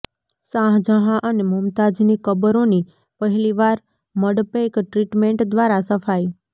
શાહજહાં અને મુમતાજની કબરોની પહેલીવાર મડપૈક ટ્રીટમેન્ટ દ્વારા સફાઈ